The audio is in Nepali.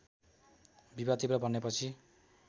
विवाद तीव्र बनेपछि